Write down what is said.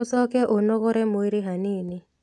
Ũcoke ũnogore mwĩrĩ hanini